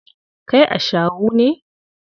Kai ashawu ne.